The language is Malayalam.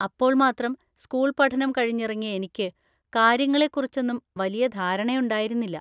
അപ്പോള്‍മാത്രം സ്‌കൂൾ പഠനം കഴിഞ്ഞിറങ്ങിയ എനിക്ക് കാര്യങ്ങളെ കുറിച്ചൊന്നും വലിയ ധാരണയുണ്ടായിരുന്നില്ല.